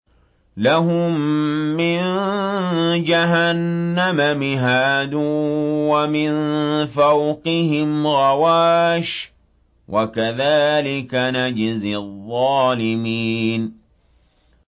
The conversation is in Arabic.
لَهُم مِّن جَهَنَّمَ مِهَادٌ وَمِن فَوْقِهِمْ غَوَاشٍ ۚ وَكَذَٰلِكَ نَجْزِي الظَّالِمِينَ